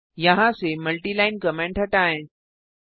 यहाँ और यहाँ से मल्टिलाइन कमेंट हटाएं